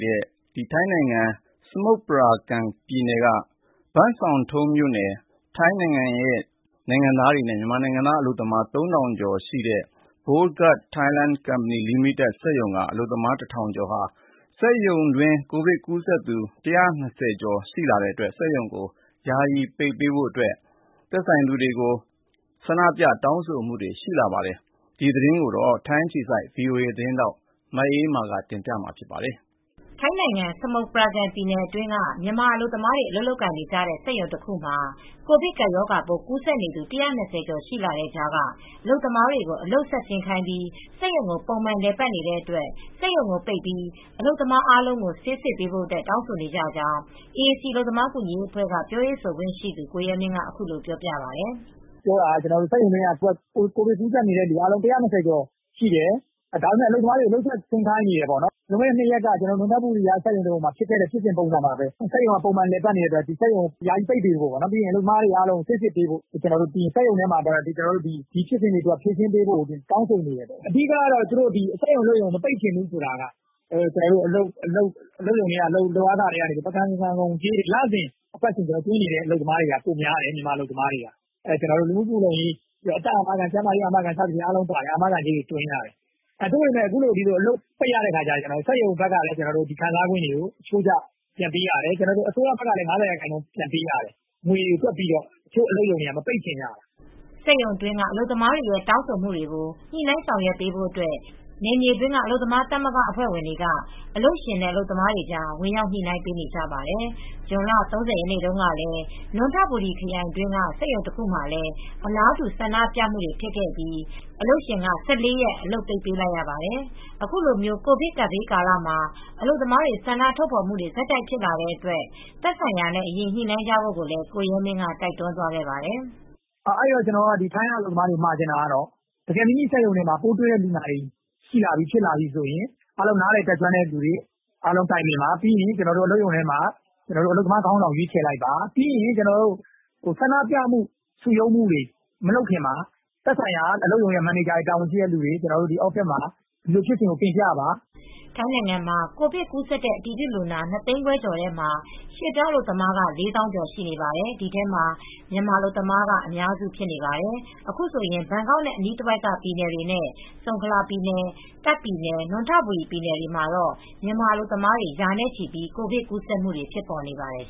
တဲ့ ထိုင်းနိုင်ငံ စမုတ်ပရာကမ်ပြည်နယ် ဘန့်ဆောင်ထုန်း မြို့နယ်က ထိုင်းနဲ့မြန်မာနိုင်ငံသား အလုပ်သမား ၃၀၀၀ ကျော်ရှိတဲ့ Bowgart Lingerie Thailand Co., Ltd. စက်ရုံက အလုပ်သမား ၁၀၀၀ ကျော်ဟာ စက်ရုံတွင်း ကိုဗစ်ကူးစက်သူ ၁၂၀ ကျော်ရှိတဲ့အတွက် စက်ရုံကို ယာယီပိတ်ပေးဖို့ နဲ့ အလုပ်သမားတွေကို ဆေးစစ်ပေးဖို့ တောင်းဆို ဆန္ဒပြခဲ့ပါတယ်။ ဒီသတင်းကိုတော့ ထိုင်းအခြေစိုက် ဗွီအိုအေသတင်းထောက် မအေးအေးမာက တင်ပြထားပါတယ်။ ထိုင်းနိုင်ငံ စမုတ်ပရာကန်ပြည်နယ်အတွင်းက မြန်မာအလုပ်သမားတွေ အလုပ်လုပ်နေကြတဲ့ စက်ရုံတခု ကိုဗစ်ကပ်ရောဂါပိုး ကူးစက်နေသူ ၁၂၀ ကျော် ရှိလာနေတဲ့ကြားက အလုပ်သမားတွေကို အလုပ်ဆက်ဆင်းခိုင်းပြီး စက်ရုံကို ပုံမှန်လည်ပတ်နေတဲ့အတွက် စက်ရုံကို ပိတ်ပြီး အလုပ်သမားအားလုံး ဆေးစစ်ပေးဖို့တောင်းဆိုနေကြောင်း AAC အလုပ်သမား ကူညီရေးအဖွဲ့ ပြောရေးဆိုခွင့်ရှိသူ ကိုရဲမင်းက အခုလိုပြောပါတယ်။ " ပြောတာက စက်ရုံထဲမှာ ကိုဗစ်ကူးစက်နေသူ ၁၂၀ ကျော်ရှိတယ်။ ဒါပေမယ့် အလုပ်သမားတွေကို အလုပ်ဆက်ဆင်းခိုင်းနေတယ် လွန်ခဲ့တဲ့ ၂ ရက်က နွံထဘူရီမှာဖြစ်သွားတဲ့ ဖြစ်စဉ်နဲ့ အတူတူပါပဲ။ စက်ရုံက ပုံမှန်လည်ပတ်နေတဲ့အတွက် စက်ရုံကို ယာယီပိတ်ပေးဖို့ အလုပ်သမားတွေ အားလုံးကို ဆေးစစ်ပေးဖို့ စက်ရုံထဲမှာ ဒီဖြစ်စဉ်တွေအားလုံး ဖြေရှင်းပေးဖို့တောင်းဆိုနေတယ်။ အဓိကတော့ စက်ရုံအလုပ်ရုံ မပိတ်ချင်ဘူး ဆိုတာက လုပ်အားခထဲကနေ အလုပ်သမားတွေ သွင်းနေတဲ့ ပကန်ဆန်ခွန်းလို့ ခေါ်တဲ့ လူမှုဖူလုံကြေးတွေ သွင်းနေတဲ့ အလုပ်သမားတွေများတယ်။ မြန်မာအလုပ်သမားတွေက လူမှုဖူလုံကြေး အသက်အာမခံကြေး ကျန်းမာရေးကြေးတွေ သွင်းရတယ်။ အခုလို အလုပ်ပိတ်ရရင် အလုပ်ရုံကလည်း ခံစားခွင့်တွေကို အချိုးကျပြန်ပေးရတယ်။ အစိုးရဘက်ကလည်း ၅၀ ရာခိုင်နှုန်းပေးရတယ် ၊ ဒါတွေငွေတွေကိုတွက်ပြီး တချို့ အလုပ်ရုံတွေက မပိတ်ချင်ကြဘူး။" စက်ရုံအတွင်း အလုပ်သမားတွေရဲ့ တောင်းဆိုမှုတွေကို ညှိနိုင်းဆောင်ရွက်ဖို့ နယ်မြေက အလုပ်သမားသမဂ္ဂအဖွဲ့တွေက အလုပ်ရှင်နဲ့အလုပ်သမားတွေကြား ဝင်ရောက် ညှိနှိုင်းပေးနေကြပါတယ်။ ဇွန်လ ၃၀ ရက်တုန်းကလည်း နွံထဘူရီခရိုင်က စက်ရုံတခုမှာလည်း အလားတူ ဆန္ဒပြမူတွေဖြစ်အပြီး အလုပ်ရှင်က ၁၄ ရက် အလုပ်ပိတ်ပေး လိုက်ရပါတယ်။ အခုလိုကိုဗစ်ကပ်ဘေးကာလမှာ အလုပ်သမားတွေဆန္ဒထုတ်ဖော်မူတွေဆက်တိုက်ဖြစ်လာတဲ့အတွက်သက်ဆိုင်ရာနဲ့ အရင်ညှိနှိုင်းကြဖို့ကိုလည်းကိုရဲမင်းကတိုက်တွန်းသွားခဲ့ပါတယ်။ "ထိုင်းရောက် အလုပ်သမားတွေကို မှာချင်တာကတော့ တကယ် မိမိစက်ရုံမှ ာပိုးတွေ့လူနာတွေ့များလာရင် နားလည်တဲ့သူတွေနဲ့ တိုင်ပင်ပါ။ အလုပ်သမားခေါင်းဆောင်ကို ရွေးချယ်ပါ။ ဆန္ဒပြမှုတွေ စုရုံးမှုတွေ မလုပ်ခင် သက်ဆိုင်ရာ မန်နေဂျာတွေ တာဝန်ရှိသူတွေကို ဒီ office မှ ာတင်ပြကြပါ။" ထိုင်းနိုင်ငံမှာ ကိုဗစ်ကူးစက်တဲ့ အတည်ပြုလူနာ ၂ သိန်းခွဲကျော်ထဲမှာ ရွေပြောင်းအလုပ်သမားက ၄ သောင်းကျော် ရှိနေပါတယ်။ ဒီထဲမှာမြန်မာ အလုပ်သမားက အများစုဖြစ်နေပါတယ်။ အခုဆိုရင် ဘန်ကောက်နဲ့ အနီးတဝိုက်က ပြည်နယ်တွေနဲ့ ဆုံခလာပြည်နယ် ၊ တာ့ခ်ပြည်နယ် ၊ နွံထဘူရီပြည်နယ်တွေမှာ မြန်မာအလုပ်သမားတွေ ရာနဲ့ချီပြီး ကိုဗစ်ကူးစက်မူတွေ ဖြစ်ပေါ်နေပါတယ်